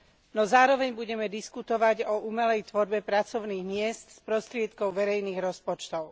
No zároveň budeme diskutovať o umelej tvorbe pracovných miest z prostriedkov verejných rozpočtov.